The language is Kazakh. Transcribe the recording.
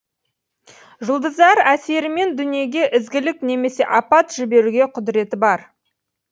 жұлдыздар әсерімен дүниеге ізгілік немесе апат жіберуге құдіреті бар